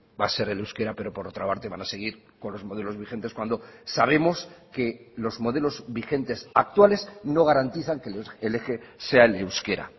va a ser el euskera pero por otra parte van a seguir con los modelos vigentes cuando sabemos que los modelos vigentes actuales no garantizan que el eje sea el euskera